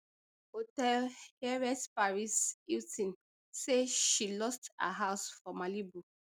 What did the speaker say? hotel heiress paris hilton say she lost her house for malibu